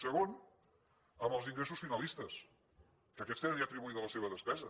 segon amb els ingressos finalistes que aquests tenen ja atribuïda la seva despesa